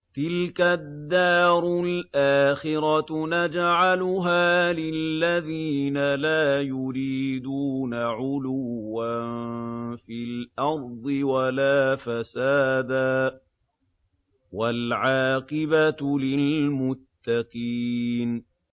تِلْكَ الدَّارُ الْآخِرَةُ نَجْعَلُهَا لِلَّذِينَ لَا يُرِيدُونَ عُلُوًّا فِي الْأَرْضِ وَلَا فَسَادًا ۚ وَالْعَاقِبَةُ لِلْمُتَّقِينَ